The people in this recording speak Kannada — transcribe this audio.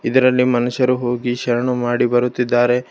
ಇದ್ರಲ್ಲಿ ಮನುಷ್ಯರು ಹೋಗಿ ಶರಣು ಮಾಡಿ ಬರುತ್ತಿದ್ದಾರೆ.